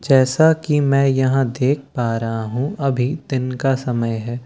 जैसा की मैं यहां देख पा रहा हूं अभी दिन का समय है।